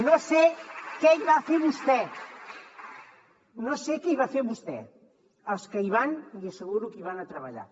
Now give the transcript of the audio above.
no sé què hi va a fer vostè no sé què hi va a fer vostè els que hi van li asseguro que hi van a treballar